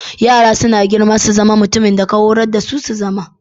Yara suna girma su zama mutumin da ka horas dasu su zama.